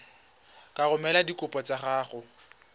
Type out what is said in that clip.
ka romela dikopo tsa gago